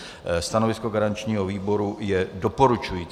Stanovisko garančního výboru je doporučující.